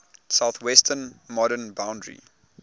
southwestern modern boundary